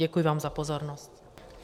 Děkuji vám za pozornost.